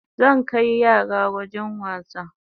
Zan kai yara wajen wasa